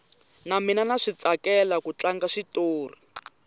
na mina ndza switsakela ku tlanga xitori